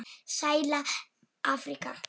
Sæla Afríka!